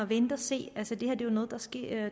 vente og se altså det her er jo noget der sker